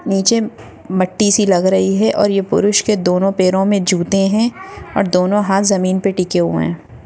नीचे मट्टी से लग रही हैं और ये पुरुष के दोनों पेर मे जूता है और दोनों हास जमीन पे टिके हुए है।